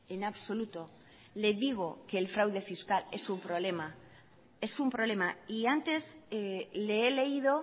en absoluto le digo que el fraude fiscal es un problema antes le he leído